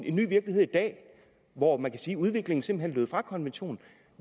en ny virkelighed hvor man kan sige at udviklingen simpelt hen fra konventionen